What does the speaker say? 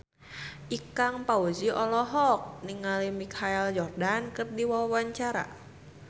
Ikang Fawzi olohok ningali Michael Jordan keur diwawancara